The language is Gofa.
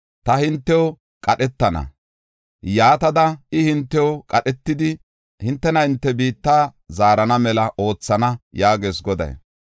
Ta hintew qadhetana; yaatada I hintew qadhetidi, hintena hinte biitta zaarana mela oothana’ yaagees Goday.